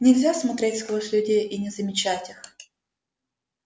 нельзя смотреть сквозь людей и не замечать их